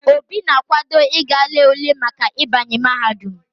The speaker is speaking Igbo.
Obi na akwado íga lee ule Maka ibanye mahadum